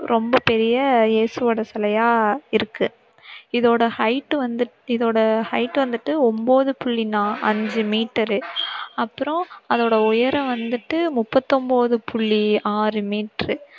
ரொம்ப பெரிய ஏசுவோட சிலையா இருக்கு. இதோட height வந்து இதோட height வந்துட்டு ஒன்பது புள்ளி நா~அஞ்சு meter உ அப்பறம், அதோட உயரம் வந்துட்டு முப்பத்தொன்பது புள்ளி ஆறு meter உ